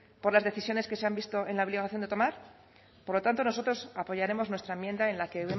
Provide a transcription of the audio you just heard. por las decisiones que se han visto en la obligación de tomar por lo tanto nosotros apoyaremos nuestra enmienda en la que